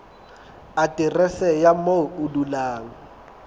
aterese ya moo o dulang